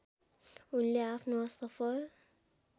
उनले आफ्नो असफल